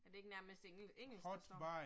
Er det ikke nærmest engelsk, der står?